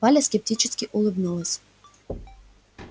валя скептически улыбнулась